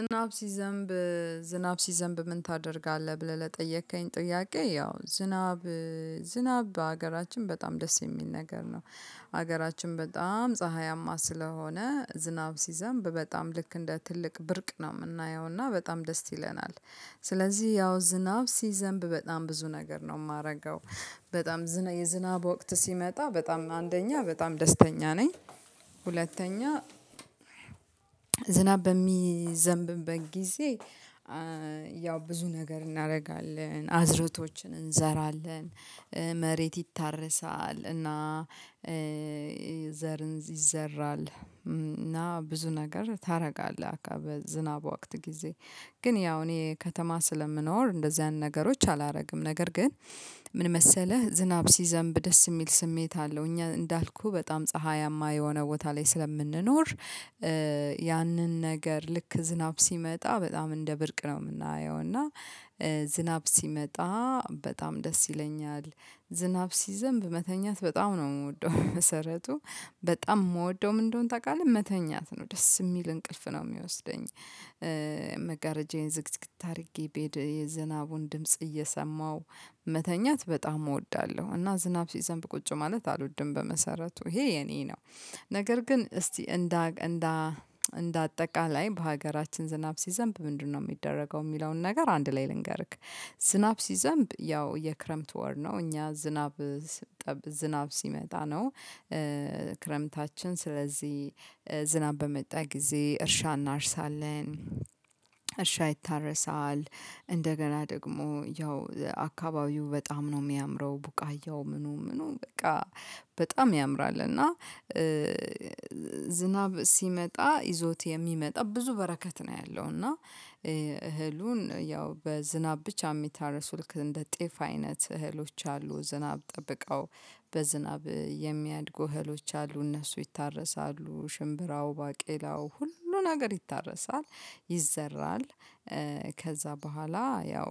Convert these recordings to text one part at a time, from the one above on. ዝናብ ሲዘንብ ዝናብ ሲዘንብ ምን ታደርጋለህ? ብለህ ለጠየከኝ ጥያቄ ያው ዝናብ ዝናብ በሀገራችን በጣም ደስ የሚል ነገር ነው። ሀገራችን በጣም ፀሀያማ ስለሆነ ዝናብ ሲዘንብ በጣም ልክ እንደ ትልቅ ብርቅ ነው የምናየውና በጣም ደስ ይለናል። ስለዚህ ያው ዝናብ ሲዘንብ በጣም ብዙ ነገር ነው የማደርገው። በጣም የዝናብ ወቅት ሲመጣ በጣም አንደኛ በጣም ደስተኛ ነኝ። ሁለተኛ ዝናብ በሚዘንብበት ጊዜ ያው ብዙ ነገር እናደርጋለን አዝእርቶችን እንዘራለን። መሬት ይታረሳል እና ዘርን ይዘራል እና ብዙ ነገር ታደርጋለህ አካባቢ በዝናብ ወቅት ጊዜ ግን ያው እኔ ከተማ ስለምኖር እንደዚህ አይነት ነገሮች አላደርግም። ነገር ግን ምን መሰለህ ዝናብ ሲዘንብ ደስ የሚል ስሜት አለው እኛ እንዳልኩህ በጣም ፀሀያማ የሆነ ቦታ ላይ ስለምንኖር። ያንን ነገር ልክ ዝናብ ሲመጣ በጣም እንደ ብርቅ ነው የምናየው እና ዝናብ ሲመጣ በጣም ደስ ይለኛል። ዝናብ ሲዘንብ መተኛት በጣም ነው የምወደው በመሰረቱ በጣም የምወደው ምን እንደሆነ ታውቃለህ መተኛት ነው ደስ የሚል እንቅልፍ ነው የሚወስደኝ። መጋረጃዬን ዝግትግት አድርጌ ቤድ የዝናቡን ድምጽ እየሰማሁ መተኛት በጣም እወዳለሁ። እና ዝናብ ሲዘንብ ቁጭ ማለት አልወድም በመሰረቱ ይሄ የኔ ነው። ነገር ግን እስቲ እንደ እንደ እንደ አጠቃላይ በሀገራችን ዝናብ ሲዘንብ ምንድነው የሚደረገው የሚለውን ነገር አንድ ላይ ልንገርክ። ዝናብ ሲዘንብ ያው የክረምት ወር ነው እኛ ዝናብ ጠብ ዝናብ ሲመጣ ነው። ክረምታችን ስለዚህ ዝናብ በመጣ ጊዜ እርሻ እናርሳለን። እርሻ ይታረሳል እንደገና ደግሞ ያው አካባቢው በጣም ነው የሚያምረው ቡቃያው ምኑ ምኑ በቃ በጣም ያምራል። እና ዝናብ ሲመጣ ይዞት የሚመጣ ብዙ በረከት ነው ያለው። እና እህሉን ያው በዝናብ ብቻ የሚታረሱ ልክ እንደ ጤፍ አይነት እህሎች አሉ። ዝናብ ጠብቀው በዝናብ የሚያድጉ እህሎች አሉ እነሱ ይታረሳሉ ሽምብራው ባቄላው ሁሉ ነገር ይታረሳል። ይዘራል። ከዛ በኋላ ያው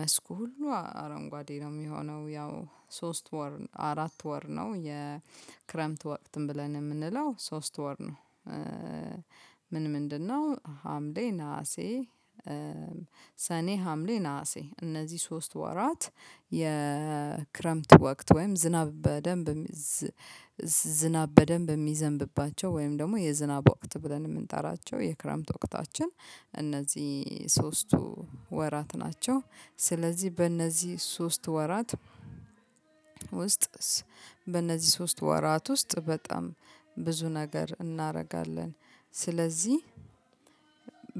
መስኩ ሁሉ አረንጓዴ ነው የሚሆነው ያው ሶስት ወር አራት ወር ነው የክረምት ወቅትም ብለን የምንለው ሶስት ወር ነው። ምን ምንድን ነው ሀምሌ ነሀሴ? ሰኔ ሀምሌ ነሀሴ እነዚህ ሶስት ወራት የክረምት ወቅት ወይም ዝናብ በደንብ ዝናብ በደንብ የሚዘንብባቸው ወይም ደግሞ የዝናብ ወቅት ብለን የምንጠራቸው የክረምት ወቅታችን። እነዚህ ሶስቱ ወራት ናቸው። ስለዚህ በእነዚህ ሶስት ወራት ውስጥስ በእነዚህ ሶስት ወራት ውስጥ በጣም ብዙ ነገር እናደርጋለን። ስለዚህ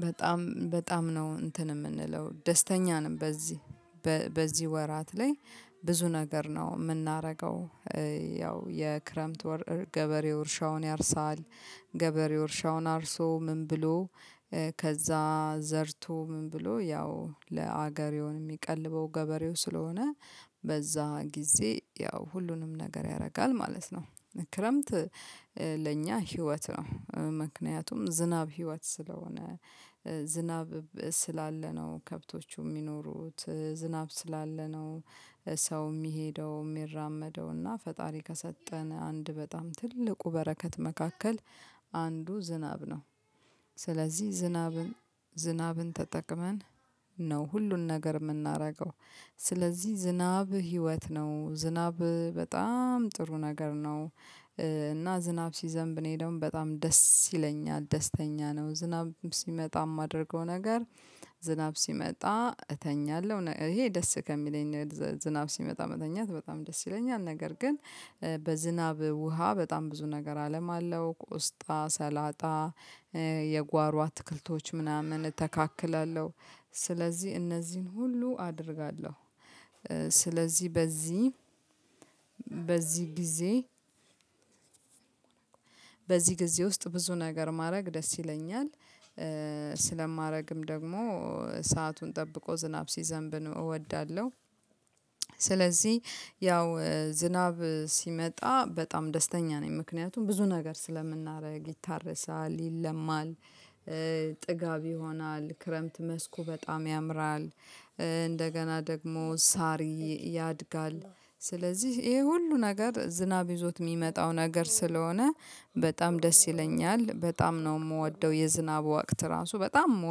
በጣም በጣም ነው እንትን የምንለው ደስተኛ ነን። በዚህ በዚህ ወራት ላይ ብዙ ነገር ነው የምናደርገው። ያው የክረምት ወር ገበሬው እርሻውን ያርሳል። ገበሬው እርሻውን አርሶ ምን ብሎ ከዛ ዘርቶ ምን ብሎ ያው ለአገሬውን የሚቀልበው ገበሬው ስለሆነ በዛ ጊዜ ያው ሁሉንም ነገር ያደርጋል ማለት ነው። ክረምት ለእኛ ህይወት ነው ምክንያቱም ዝናብ ህይወት ስለሆነ። ዝናብ ስላለ ነው ከብቶቹ የሚኖሩት ዝናብ ስላለ ነው። ሰው የሚሄደው የሚራመደውና ፈጣሪ ከሰጠን አንድ በጣም ትልቁ በረከት መካከል አንዱ ዝናብ ነው። ስለዚህ ዝናብን ዝናብን ተጠቅመን ነው ሁሉን ነገር የምናደርገው። ስለዚህ ዝናብ ህይወት ነው ዝናብ በጣም ጥሩ ነገር ነው። እና ዝናብ ሲዘንብ እኔ ደግሞ በጣም ደስ ይለኛል ደስተኛ ነው ዝናብ ሲመጣ የማደርገው ነገር። ዝናብ ሲመጣ እተኛለሁ ይሄ ደስ ከሚለኝ ዝናብ ሲመጣ መተኛት በጣም ደስ ይለኛል። ነገር ግን በዝናብ ውሃ በጣም ብዙ ነገር አለማለሁ ቆስጣ ሰላጣ የጓሮ አትክልቶች ምናምን እተካክላለሁ። ስለዚህ እነዚህን ሁሉ አደርጋለሁ። ስለዚህ በዚህ በዚህ ጊዜ በዚህ ጊዜ ውስጥ ብዙ ነገር ማድረግ ደስ ይለኛል። ስለማደርግም ደግሞ ሰአቱን ጠብቆ ዝናብ ሲዘንብን እወዳለሁ። ስለዚህ ያው ዝናብ ሲመጣ በጣም ደስተኛ ነኝ ምክንያቱም ብዙ ነገር ስለምናደርግ ይታረሳል ይለማል። ጥጋብ ይሆናል ክረምት መስኩ በጣም ያምራል። እንደገና ደግሞ ሳር ያድጋል። ስለዚህ ይሄ ሁሉ ነገር ዝናብ ይዞት የሚመጣው ነገር ስለሆነ በጣም ደስ ይለኛል። በጣም ነው የምወደው የዝናብ ወቅት ራሱ በጣም